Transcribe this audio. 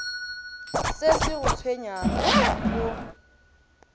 se se go tshwenyago o